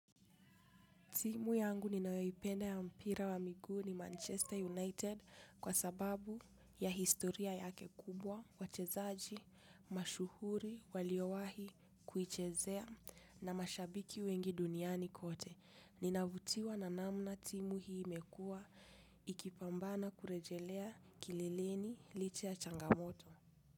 Timu yangu ninayo ipenda wa mpira wa miguu ni manchester united kwa sababu ya historia yake kubwa wachezaji masuhuri waliowahi kuichezea na mashabiki wengi duniani kote. Ninavutiwa na namna timu hii imekua ikipambana kurejelea kileleni licha ya changamoto.